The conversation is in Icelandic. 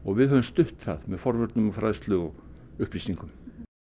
við höfum stutt það með forvörnum fræðslu og upplýsingum